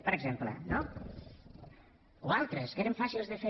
per exemple no o altres que eren fàcils de fer